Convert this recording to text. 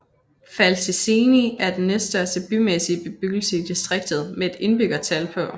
Fălticeni er den næststørste bymæssige bebyggelse i distriktet med et indbyggertal på